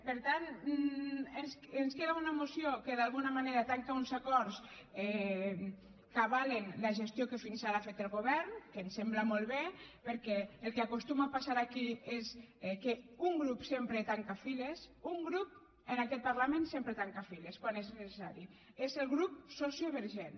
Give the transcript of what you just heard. per tant ens queda una moció que d’alguna manera tanca uns acords que avalen la gestió que fins ara ha fet el govern que ens sembla molt bé perquè el que acostuma a passar aquí és que un grup sempre tanca files un grup en aquest parlament sempre tanca files quan és necessari és el grup sociovergent